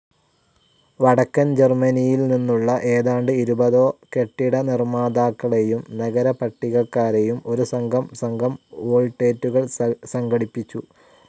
വടക്കൻ ജർമ്മനിയിൽ നിന്നുള്ള ഏതാണ്ട് ഇരുപതോ കെട്ടിടനിർമ്മാതാക്കളെയും നഗരപട്ടികക്കാരെയും ഒരു സംഘം സംഘം വോൾട്ടേറ്റുകൾ സംഘടിപ്പിച്ചു.